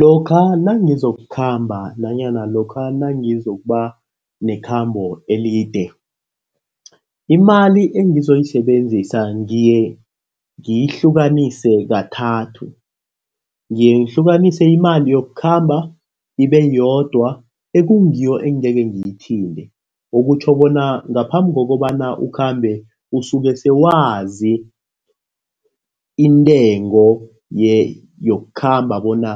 Lokha nangizokukhamba nanyana lokha nangizokuba nekhambo elide. Imali engizoyisebenzisa ngiye ngiyihlukanise kathathu. Ngiye ngihlukanise imali yokukhamba ibe yodwa, ekungiyo engeke ngiyithinte. Okutjho bona ngaphambi kokobana ukhambe usuke sewazi intengo yokukhamba bona